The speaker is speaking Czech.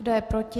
Kdo je proti?